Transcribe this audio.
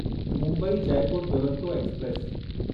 Mumbai Jaipur Duronto express